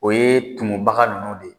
O ye tumubaga ninnu de ye